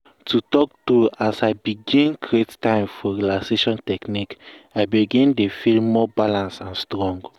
to talk true as l begin create time for relaxation technique i begin dey feel more balance and strong.